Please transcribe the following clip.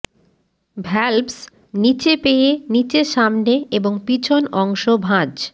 valves নিচে পেয়ে নিচে সামনে এবং পিছন অংশ ভাঁজ